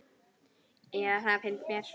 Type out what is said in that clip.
Eða það finnst mér.